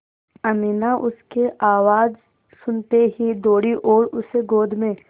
अमीना उसकी आवाज़ सुनते ही दौड़ी और उसे गोद में